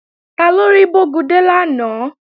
Taló rí Bógúndé lánàá?